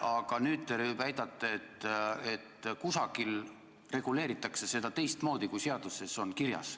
Aga nüüd te väidate, et kusagil reguleeritakse seda teistmoodi, kui seaduses on kirjas.